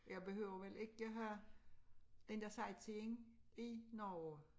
Jeg behøver vel ikke have den dér sightseeing i Norge